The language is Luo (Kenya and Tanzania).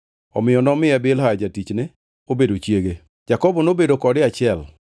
Omiyo nomiye Bilha jatichne obedo chiege. Jakobo nobedo kode achiel,